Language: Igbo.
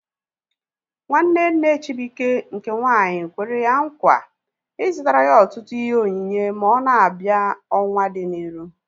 Nwanne nne Chibuike nke nwaanyị kwere ya nkwa ị zụtara ya ọtụtụ ihe onyinye ma ọ na-abịa ọnwaa dị n'iru